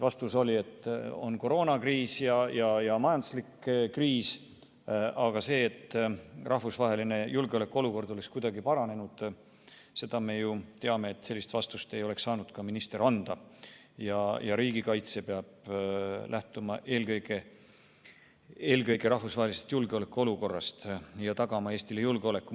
Vastus oli, et on koroonakriis ja majanduslik kriis, aga et rahvusvaheline julgeolekuolukord oleks kuidagi paranenud – me ju teame, et sellist vastust ei oleks saanud minister anda ja riigikaitse peab lähtuma eelkõige rahvusvahelisest julgeolekuolukorrast ja tagama Eestile julgeoleku.